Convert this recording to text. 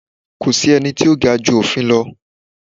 Ko sí ẹni tí o ga ju òfin lọ